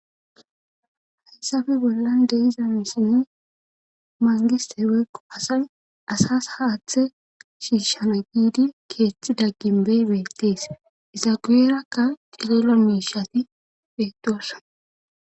hayssabi bollan de'izamesinni maangisteweekko asay asas haaththe shiishana giidi keeththi dagginbey beettees izaguuerakka tilela miishati beetosa